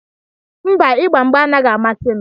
Mba, ịgba mgbà anaghị amasi m